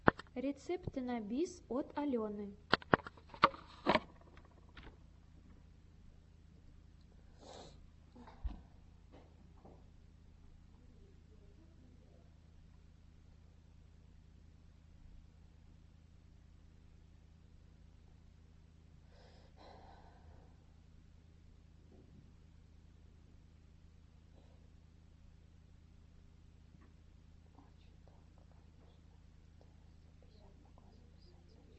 рецепты на бис от алены